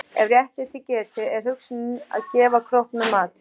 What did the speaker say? Ef rétt er til getið er hugsunin að gefa króknum mat.